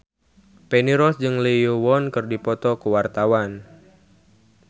Feni Rose jeung Lee Yo Won keur dipoto ku wartawan